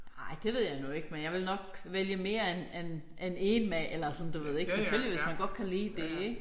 Ej det ved jeg nu ikke men jeg ville nok vælge mere end end end én maler eller sådan du ved ik. Selvfølgelig hvis man godt kan lide det ik